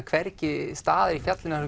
hvergi staður í fjallinu þar